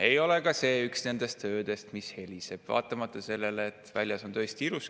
Ei ole ka see üks nendest öödest, mis heliseb, vaatamata sellele, et väljas on tõesti ilus.